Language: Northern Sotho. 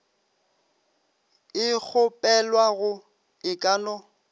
e kgopelwago e ka no